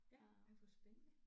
Ja ej hvor spændende